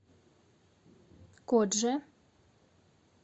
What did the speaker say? кодже